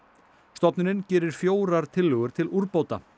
stofnunin gerir fjórar tillögur til úrbóta